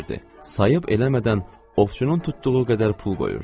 Sayıb eləmədən ovçunun tutduğu qədər pul qoyurdu.